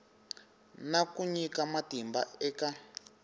na ku nyika matimba eka